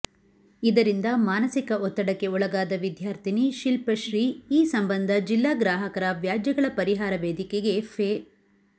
ಇದರಿಂದ ಮಾನಸಿಕ ಒತ್ತಡಕ್ಕೆ ಒಳಗಾದ ವಿದ್ಯಾರ್ಥಿನಿ ಶಿಲ್ಪಶ್ರೀ ಈ ಸಂಬಂಧ ಜಿಲ್ಲಾ ಗ್ರಾಹಕರ ವ್ಯಾಜ್ಯಗಳ ಪರಿಹಾರ ವೇದಿಕೆಗೆ ಫೆ